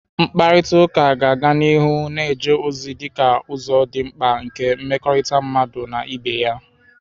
Mkparịta ụka ga-aga n'ihu na-eje ozi dịka ụzọ dị mkpa nke mmekọrịta mmadụ na ibe ya.